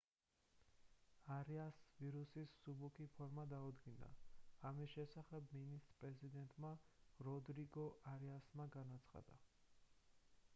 არიასს ვირუსის მსუბუქი ფორმა დაუდგინდა ამის შესახებ მინისტრ-პრეზიდენტმა როდრიგო არიასმა განაცხადა